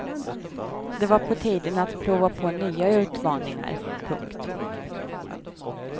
Det var på tiden att prova på nya utmaningar. punkt